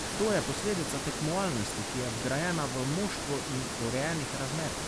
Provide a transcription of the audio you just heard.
To je posledica tekmovalnosti, ki je vgrajena v moštvo, in urejenih razmer.